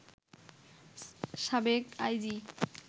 সাবেক আইজি